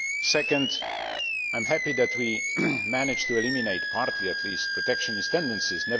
Second, I am happy that we managed to eliminate partly, at least protectionist tendencies.